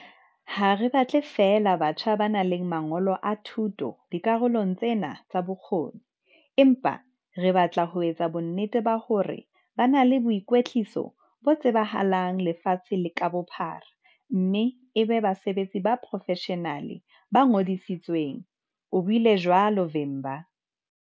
"Ha re batle feela batjha ba nang le mangolo a thuto dikarolong tsena tsa bokgoni, empa re batla ho etsa bonnete ba hore ba na le boikwetliso bo tsebisahalang lefatshe ka bophara mme e be basebetsi ba poro-feshenale ba ngodisitsweng," o buile jwalo Vimba.